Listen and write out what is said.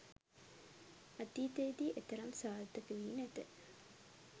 අතීතයේදී එතරම් සාර්ථක වී නැත